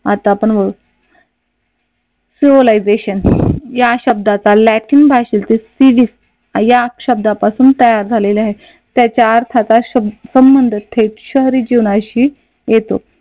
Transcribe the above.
आता आपण पाहू सिव्हिलायझेशन या शब्दाचा लॅटिन भाषेतील सिविक या शब्दापासून तयार झालेला आहे त्याच्या अर्थाचा संबंध थेट शहरी जीवनाशी येतो.